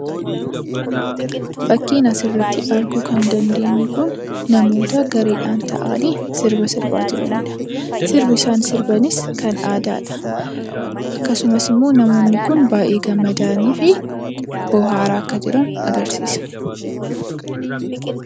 Suuraa kanaa gadii irratti kan argamu kun namoota gareedhaan sirbaa jirani dha. Sirbi isaan sirbanis sirba aadaa dha. Akkasumas namoonni Kun gammadaa fi bo'aara jiran kan agarsiisuu dha.